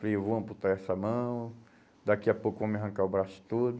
Falei, eu vou amputar essa mão, daqui a pouco vão me arrancar o braço todo.